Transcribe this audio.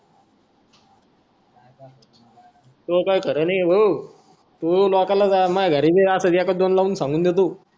तूह काय खर नाय है भाऊ तू लोकांला माह घरी भी अस एका च दोन लावून सांगून देतो